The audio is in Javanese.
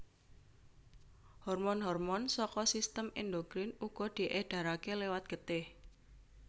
Hormon hormon saka sistém endokrin uga diédharaké liwat getih